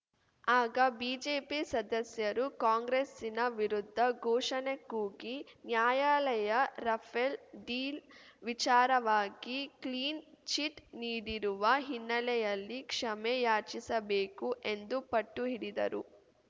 ಆಗ ಬಿಜೆಪಿ ಸದಸ್ಯರು ಕಾಂಗ್ರೆಸ್ಸಿನ ವಿರುದ್ಧ ಘೋಷಣೆ ಕೂಗಿ ನ್ಯಾಯಾಲಯ ರಫೇಲ್‌ ಡೀಲ್‌ ವಿಚಾರವಾಗಿ ಕ್ಲೀನ್‌ಚಿಟ್‌ ನೀಡಿರುವ ಹಿನ್ನೆಲೆಯಲ್ಲಿ ಕ್ಷಮೆ ಯಾಚಿಸಬೇಕು ಎಂದು ಪಟ್ಟು ಹಿಡಿದರು